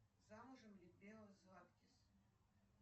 замужем ли белла златкис